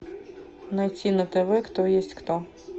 найти на тв кто есть кто